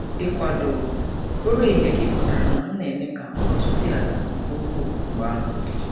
Ikwado ụra ehihie gị pụtara na m na-eme ka mkpọtụ dị ala nke ukwuu mgbe ahụ.